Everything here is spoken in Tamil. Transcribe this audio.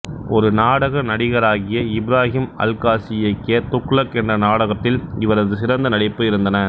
ஒரு நாடக நடிகராக இப்ராஹிம் அல்காசி இயக்கிய துக்ளக் என்ற நாடகத்தில் இவரது சிறந்த நடிப்பு இருந்தன